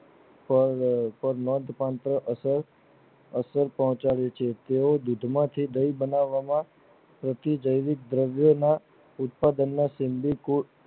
તેઓ મધ કન્ટ્રો અસમ અસર પોહચાડી છે તેઓ દૂધ માંથી દહીં બનાવવાના પ્રતીકજનિક દ્રવ્યો ના ઉત્પાદન માં